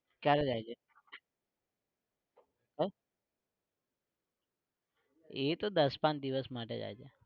કયારે જાય છે? હ? એતો દસ પાંચ દિવસ માટે જાય છે.